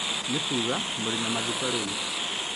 nĩ kuuga mũrĩ na mathiko rĩu